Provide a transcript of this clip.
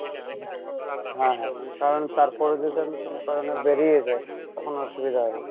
হ্যাঁ হ্যাঁ কারন তার পরে যদি আমি কোনো কারনে বেরিয়ে যাই, তখন অসুবিধা হবে।